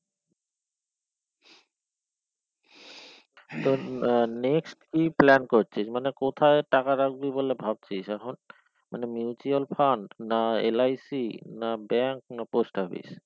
আহ next কি plan করছিস মানে কোথায় টাকা রাখবি বলে ভাবছিস এখন মানে mutual fund না LIC না bank না post office